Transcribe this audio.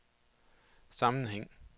sammenhæng